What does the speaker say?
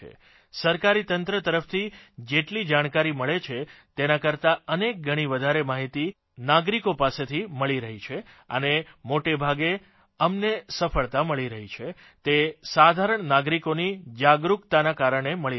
સરકારી તંત્ર તરફથી જેટલી જાણકારી મળે છે તેના કરતાં અનેકગણી વધારે માહીતી અદના નાગરિકો પાસેથી મળી રહી છે અને મોટાભાગે અમને સફળતા મળી રહી છે તે સાધારણ નાગરિકોની જાગરૂકતાના કારણે મળી રહી છે